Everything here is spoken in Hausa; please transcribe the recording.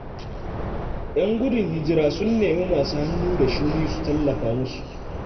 Yan gudun hijira sun nemi masu hannu da shuni su tallafa musu.